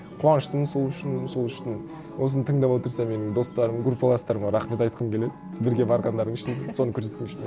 қуаныштымын сол үшін сол үшін осыны тыңдап отырса менің достарым группаластарыма рахмет айтқым келеді бірге барғандарың үшін соны көрсеткен үшін